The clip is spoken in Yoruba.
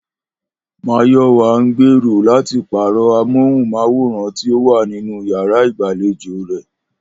Máyò̩wá ń gbèrò láti pàrò̩ amóhùn-máwòrán tí ó wà nínú yàrá ìgbàlejò rè